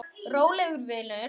Rólegur vinur!